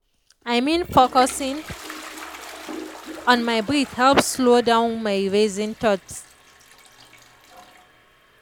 i mean focusing on my breath helps slow down my racing thoughts.